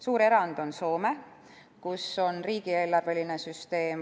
Suur erand on Soome, kus on riigieelarveline süsteem.